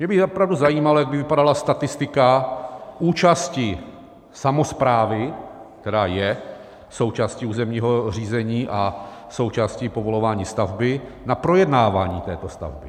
Mě by opravdu zajímalo, jak by vypadala statistika účasti samosprávy, která je součástí územního řízení a součástí povolování stavby, na projednávání této stavby.